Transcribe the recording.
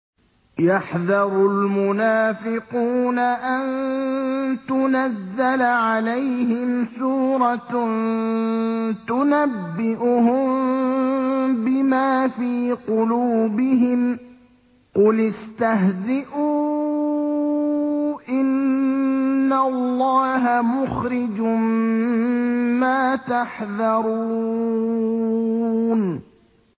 يَحْذَرُ الْمُنَافِقُونَ أَن تُنَزَّلَ عَلَيْهِمْ سُورَةٌ تُنَبِّئُهُم بِمَا فِي قُلُوبِهِمْ ۚ قُلِ اسْتَهْزِئُوا إِنَّ اللَّهَ مُخْرِجٌ مَّا تَحْذَرُونَ